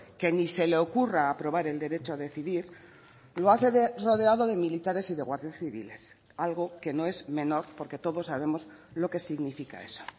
que ni se le ocurra aprobar el derecho a decidir lo hace rodeado de militares y de guardias civiles algo que no es menor porque todos sabemos lo que significa eso